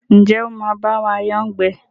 Njé o má ba wa yán gbé?